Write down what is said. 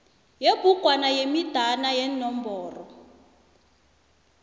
yebhugwana yemidana yeenomboro